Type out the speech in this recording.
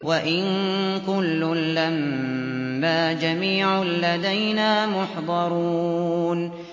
وَإِن كُلٌّ لَّمَّا جَمِيعٌ لَّدَيْنَا مُحْضَرُونَ